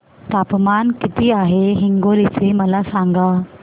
तापमान किती आहे हिंगोली चे मला सांगा